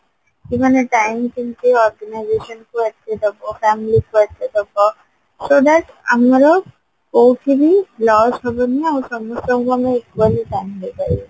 କି ମାନେ time କେମିତି organisation କୁ ଦବ family କୁ ଦବ so that ଆମର କଉଠି ବି loss ହବନି ଆଉ ସମସ୍ତଙ୍କୁ ଆମେ equally time ଦେଇପାରିବା